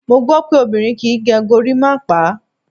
Mo gbó pé obìnrin kí ń gẹ gorímápá.